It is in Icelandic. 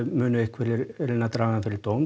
munu einhverjir reyna að draga hann fyrir dóm